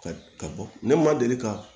Ka ka bɔ ne ma deli ka